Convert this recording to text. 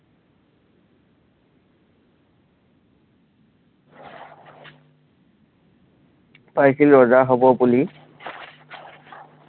ৰজা হ'ব বুলি